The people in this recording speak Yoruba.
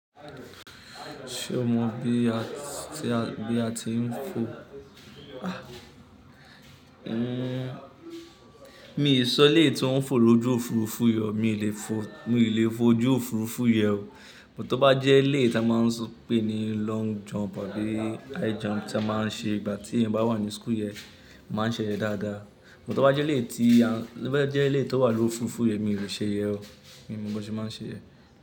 Ṣé o mọ̀ bí a tí, bí a ti ń fo? Ah! N-- mi ò lè sọ eleyi tó ń fò lójú òfurufú yen o, mi ò lè fo, mi ò lè fò ojú òfurufú yẹn o. But tó bá jẹ́ eléyi tí a máa ń pè ní long jump àbí high jump tí a máa ń ṣe nìgbà tí ẹ̀yan bá wà ní school yẹn, màá ṣe yẹ̀n dáadáa. But tó bá jẹ́ eléyi tí a, to bá jẹ́ eléyi tó wà lójú òfurufú yẹn mi ò lè ṣe yẹn o. Mi mọ bí wọn ṣe máa ń ṣe yẹ̀n.